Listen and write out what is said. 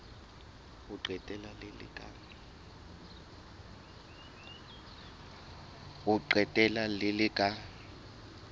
ho qetela le le ka